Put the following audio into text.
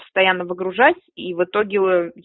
постоянно выгружать и в итоге аа